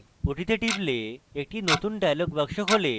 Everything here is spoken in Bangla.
আমরা ওটিতে টিপলে একটি নতুন dialog box খোলে